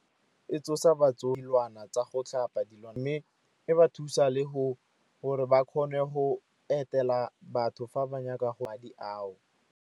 E tsosa tsa go tlhapa dilwana mme e ba thusa le gore ba kgone go etela batho fa ba nyaka ao.